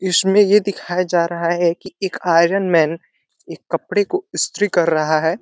इसमें ये दिखया जा रहा है की एक आयरन मैंन एक कपड़े को स्त्री कर रहा है।